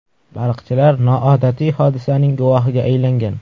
Baliqchilar noodatiy hodisaning guvohiga aylangan.